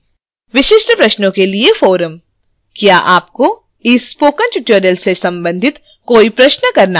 विशिष्ट प्रश्नों के लिए forum: